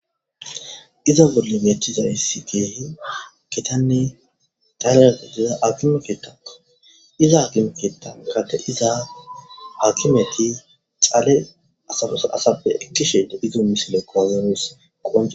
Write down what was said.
Iza bolle beechiza yssi geehi ketanni tale iza akimekeetaa iza akimeketa gate izaa haakimeti cale asabos asappe ekkishe da izo misile koazonosqoae